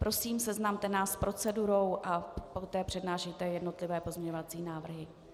Prosím, seznamte nás s procedurou a poté přednášejte jednotlivé pozměňovací návrhy.